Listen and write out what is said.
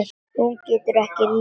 Hún getur ekki litið upp.